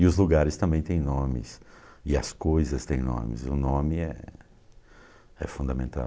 E os lugares também têm nomes, e as coisas têm nomes, o nome é é fundamental.